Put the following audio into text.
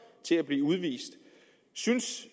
til at blive udvist synes